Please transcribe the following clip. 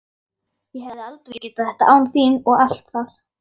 Ég hefði aldrei getað þetta án þín og allt það.